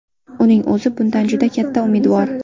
Uning o‘zi bundan juda katta umidvor.